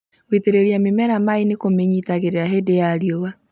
Gũitĩrĩria mĩmera maĩ nĩkũmĩnyitagĩrĩra hĩndĩ ya riũa